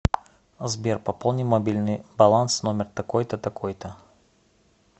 сбер пополни мобильный баланс номер такой то такой то